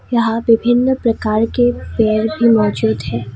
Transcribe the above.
यहां विभिन्न प्रकार के पेड़ भी मौजूद है।